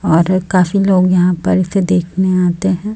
और काफी लोग यहां पर इसे देखने आते हैं।